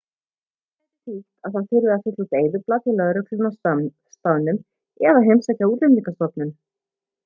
þetta gæti þýtt að það þurfi að fylla út eyðublað hjá lögreglunni á staðnum eða heimsækja útlendingastofnun